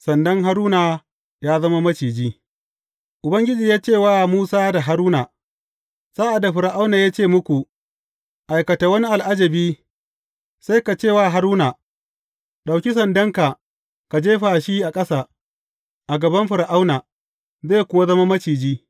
Sandan Haruna ya zama Maciji Ubangiji ya ce wa Musa da Haruna, Sa’ad da Fir’auna ya ce muku, Aikata wani al’ajabi,’ sai ka ce wa Haruna, Ɗauki sandanka ka jefa shi a ƙasa, a gaban Fir’auna,’ zai kuwa zama maciji.